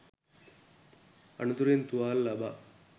අනතුරින් තුවාල ලබා